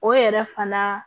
O yɛrɛ fana